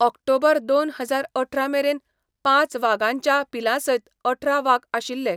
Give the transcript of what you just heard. ऑक्टोबर दोन हजार अठरा मेरेन पांच वागाच्यां पिलांसयत अठरा वाग आशिल्ले.